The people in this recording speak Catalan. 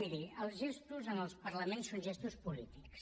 miri els gestos en els parlaments són gestos polítics